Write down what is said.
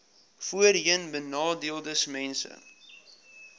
voorheenbenadeeldesmense